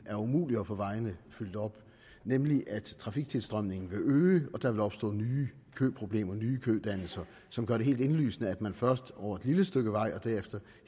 er umuligt at få vejene fyldt op nemlig at trafiktilstrømningen vil øge og der vil opstå nye køproblemer nye kødannelser som gør det helt indlysende at man først over et lille stykke vej og derefter